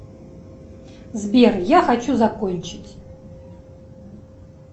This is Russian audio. сбер я хочу закончить